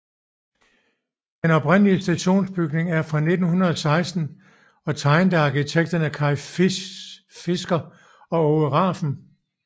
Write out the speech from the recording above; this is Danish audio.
Den oprindelige stationsbygning er fra 1916 og tegnet af arkitekterne Kay Fisker og Aage Rafn